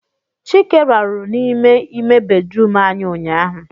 Chike rarụ n'ime ime bedrum anyị ụnyaahụ